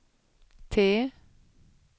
T